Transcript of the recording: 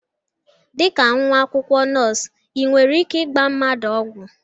Dịka nwa akwụkwọ nọọsụ ị nwere ike ịgba mmadụ ọgwụ?